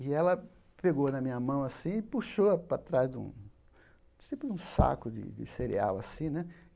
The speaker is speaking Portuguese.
E ela pegou na minha mão assim e puxou para trás de um tipo um saco de cereal assim né.